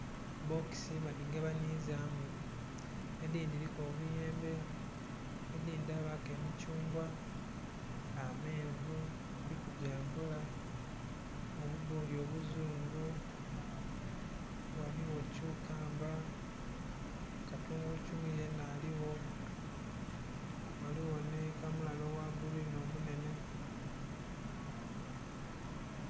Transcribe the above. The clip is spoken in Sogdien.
Bbokisi badhigabanizamu edhindhi dhiriku obuyenbe, edhindhi dhabaku emithungwa, ameenvu, kuliku gyambula, obubboli obuzungu, ghaligho kyukamba, katungulu kyumu yena aligho ghaligho ni kamulali ogha gulwini omunhenhe.